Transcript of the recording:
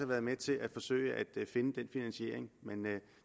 været med til at forsøge at finde den finansiering men